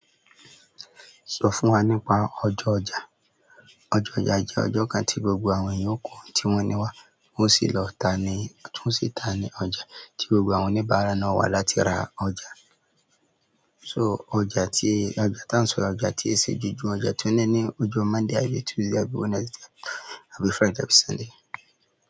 Sọ fún wa nípa ọjọ́ ọjà. Ọjọ́ ọjà jẹ́ ọjọ́ kan tí gbogbo àwọn ènìyàn o kóhun tí wọ́n ní wá, wọ́n o sì lọ ta a ni ọjà, wọ́n sì ta ní ọjà tí gbogbo àwọn oníbàárà naá wà láti ra oúnjẹ. So ọjà tí, ọjà tá ń sọ́ro, ọjà tí i ṣe ojoojùmo, de tun ní ní ijọ́ Monday àbí Tuesday àbí Wednesday àbí Friday àbí Sunday.